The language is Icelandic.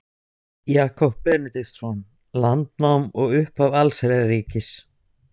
Jakob Benediktsson: Landnám og upphaf allsherjarríkis